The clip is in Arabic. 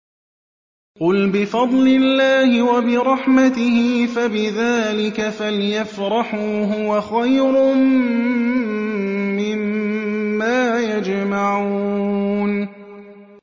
قُلْ بِفَضْلِ اللَّهِ وَبِرَحْمَتِهِ فَبِذَٰلِكَ فَلْيَفْرَحُوا هُوَ خَيْرٌ مِّمَّا يَجْمَعُونَ